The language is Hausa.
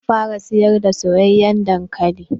Zan fara siyar da soyayen dankali.